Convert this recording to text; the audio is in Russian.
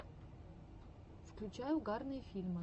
включай угарные фильмы